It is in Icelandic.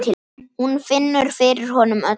Hún finnur fyrir honum öllum.